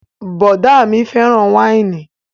Bọ̀ọ̀dá mi fẹ́ràn wáìnì